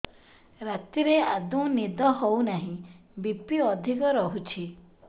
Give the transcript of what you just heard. ରାତିରେ ଆଦୌ ନିଦ ହେଉ ନାହିଁ ବି.ପି ଅଧିକ ରହୁଛି